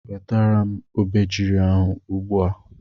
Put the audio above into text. Wetara m obejiri ahụ ugbu a!